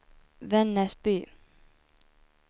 Vännäsby